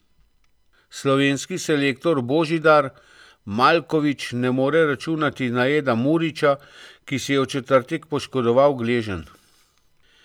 Slovenski selektor Božidar Maljković ne more računati na Eda Murića, ki si je v četrtek poškodoval gleženj.